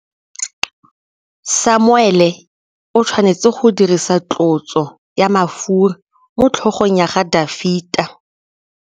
Samuele o tshwanetse go dirisa tlotsô ya mafura motlhôgong ya Dafita.